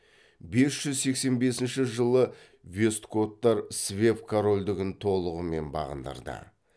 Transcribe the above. бес жүз сексен бесінші жылы вестготтар свев корольдігін толығымен бағындырды